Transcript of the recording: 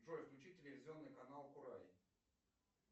джой включи телевизионный канал курай